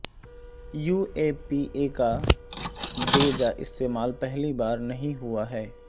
you A P A کا بے جا استعمال پہلی بار نہیں ہوا ہے